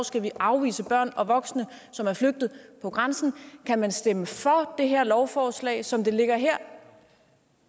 skal afvise børn og voksne som er flygtet på grænsen kan man stemme for det her lovforslag som det ligger her